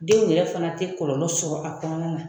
Denw yɛrɛ fana tɛ kɔlɔlɔ sɔrɔ a kɔnɔna na.